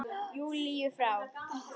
Júlíu frá.